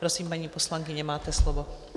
Prosím, paní poslankyně, máte slovo.